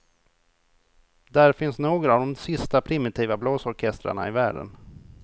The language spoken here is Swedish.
Där finns några av de sista primitiva blåsorkestrarna i världen.